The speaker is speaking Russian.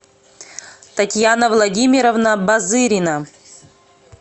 татьяна владимировна базырина